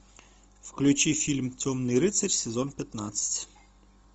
включи фильм темный рыцарь сезон пятнадцать